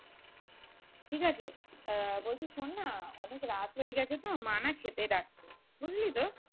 ঠিক আছে আহ বলছি শোননা অনেক রাত হয়ে গেছে তো মা না খেতে ডাকছে বুঝলি তো